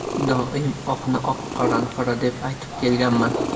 Doim oqni oq, qorani qora deb aytib kelganman.